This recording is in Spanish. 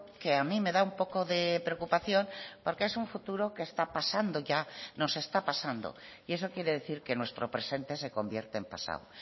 que a mí me da un poco de preocupación porque es un futuro que está pasando ya nos está pasando y eso quiere decir que nuestro presente se convierte en pasado